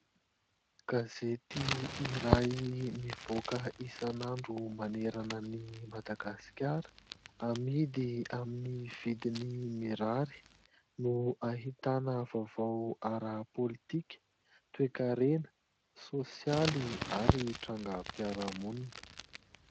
Gazety iray mivoaka isan'andro manerana an'i Madagasikara, amidy amin'ny vidiny mirary no ahitana vaovao ara-pôlitika, toekarena, sôsialy ary tranga ara-piarahamonina.